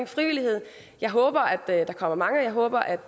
frivillighed jeg håber at der kommer mange jeg håber at